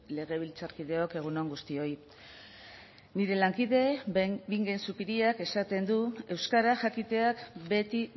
legebiltzarkideok egun on guztioi nire lankide den bingen zupiriak esaten du euskara jakiteak beti